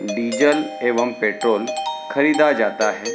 Diesel एवं petrol ख़रीदा जाता है।